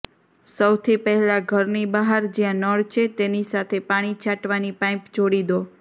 સૌથી પહેલાં ઘરની બહાર જ્યાં નળ છે તેની સાથે પાણી છાંટવાની પાઈપ જોડી દો